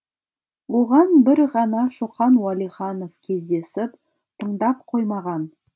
оған бір ғана шоқан уәлиханов кездесіп тыңдап қоймаған